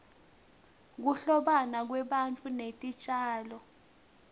kuhlobana kwebantfu netitjalo